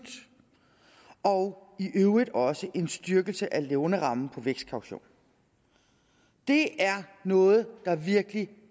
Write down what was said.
og i øvrigt også en styrkelse af lånerammen for vækstkaution det er noget der virkelig